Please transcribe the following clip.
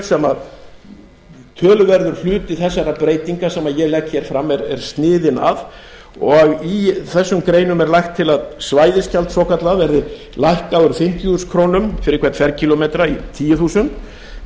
sem töluverður hluti þessara breytinga sem ég legg hér fram er sniðinn að og í þessum greinum er lagt til að svæðisgjald svokallað verði lækkað úr fimmtíu þúsund krónur fyrir hvern ferkílómetra í tíu þúsund krónur en það